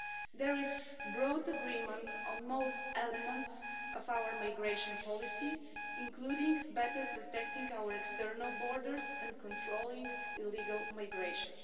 There is broad agreement on most elements of our migration policy, including better protecting our external borders and controlling illegal migration.